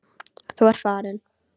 Þú ert farinn.